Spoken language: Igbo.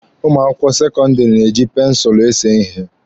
Ụmụ akwụkwọ sekọndịrị na-eji pensụlụ ese ihe.